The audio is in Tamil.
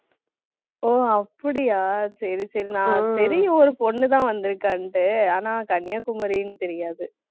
ஓ, அப்படியா சரி, சரி நான் சரி, ஒரு பொண்ணுதான் வந்திருக்கான்ட்டு ஆனா கன்னியாகுமரின்னு தெரியாது.